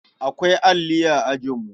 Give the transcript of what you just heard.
Akwai alli a ajinmu.